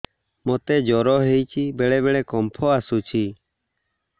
ମୋତେ ଜ୍ୱର ହେଇଚି ବେଳେ ବେଳେ କମ୍ପ ଆସୁଛି